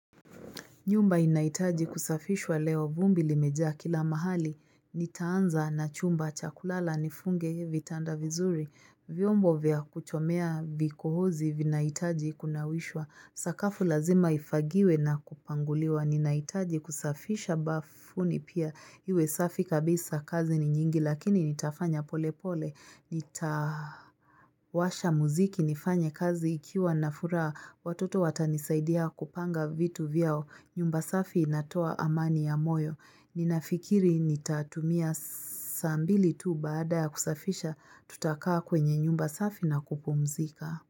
Nyumba inaitaji kusafishwa leo. Vumbi limeja kila mahali. Nitaanza na chumba cha kulala nifunge vitanda vizuri. Vyombo vya kuchomea vikohozi vinaitaji kunawishwa. Sakafu lazima ifagiwe na kupanguliwa. Ninaitaji kusafisha bafuni pia. Iwe safi kabisa kazi ni nyingi lakini nitafanya pole pole. Nitawasha muziki nifanye kazi ikiwa nafura watoto watanisaidia kupanga vitu vyao. Nyumba safi inatoa amani ya moyo. Ninafikiri nitatumia saa mbili tu baada ya kusafisha tutakaa kwenye nyumba safi na kupumzika.